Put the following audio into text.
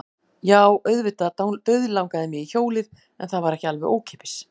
Jú, auðvitað dauðlangaði mig í hjólið en það var ekki alveg ókeypis.